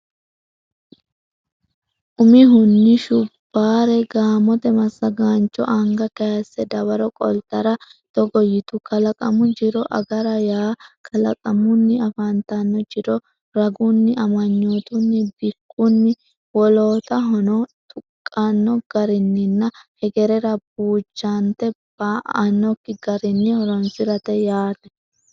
Umihunni Shubbaare gaamote massagaancho anga kayisse dawaro qoltara togo yitu Kalaqamu jiro agara yaa kalaqamunni afantanno jiro ragunni amanyootunni bikkunni wolootahono tuqqanno garinninna hegerera buujante ba annokki garinni horonsi rate yaate.